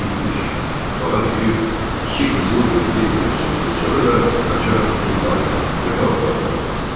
Bağa düşüb iki qızıl gülü bir-birinə sürtüb, sonra da qaçaraq yuxarıya, yataq otağına qalxıb.